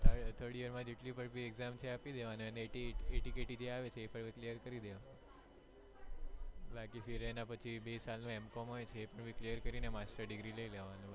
third year માં જેટલી પણ exam છે એ આપી દેવાની અને atkt જેટલી પણ આવે એ clear કરી દેવાની બાકી એના પછી બે સાલ નું m. com હોય છે એપણ clear કરીને master degree લઇ લેવાની